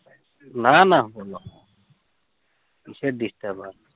না না বলো, কিসের disturbe